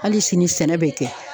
Hali sini sɛnɛ bɛ kɛ